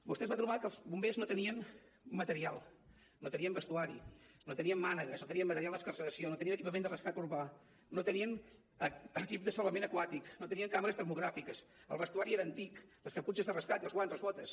vostè es va trobar que els bombers no tenien material no tenien vestuari no tenien mànegues no tenien material d’excarceració no tenien equipament de rescat urbà no tenien equip de salvament aquàtic no tenien càmeres termogràfiques el vestuari era antic les caputxes de rescat i els guants les botes